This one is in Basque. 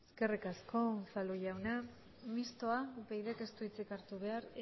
eskerrik asko unzalu jauna mistoa upydk ez du hitzik hartu behar